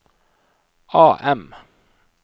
AM